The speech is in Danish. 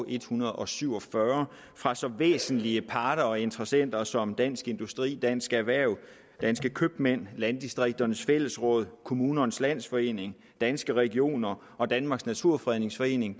en hundrede og syv og fyrre fra så væsentlige parter og interessenter som dansk industri dansk erhverv danske købmænd landdistrikternes fællesråd kommunernes landsforening danske regioner og danmarks naturfredningsforening